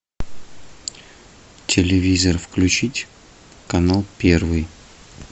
телевизор включить канал первый